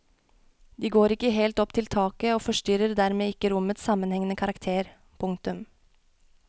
De går ikke helt opp til taket og forstyrrer dermed ikke rommets sammenhengende karakter. punktum